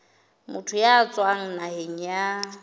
motho ya tswang naheng ya